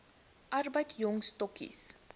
arbeid jong stokkies